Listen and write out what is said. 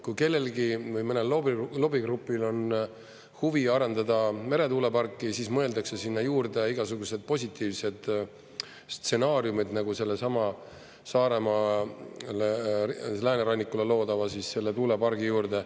Kui kellelgi või mõnel lobigrupil on huvi arendada meretuuleparki, siis mõeldakse sinna juurde igasugused positiivsed stsenaariumid, nagu sellesama Saaremaa läänerannikule loodava selle tuulepargi juurde.